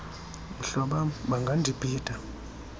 mhloba m bangandibhida